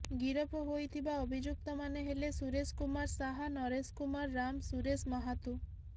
ଗିରଫ ହୋଇଥିବା ଅଭିଯୁକ୍ତମାନେ ହେଲେ ସୁରେଶ କୁମାର ଶାହା ନରେଶ କୁମାର ରାମ ସୁରେଶ ମାହାତୁ